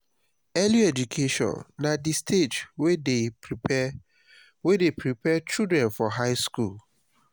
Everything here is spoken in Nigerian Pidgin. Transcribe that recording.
early education na di stage wey de prepare wey de prepare children for high school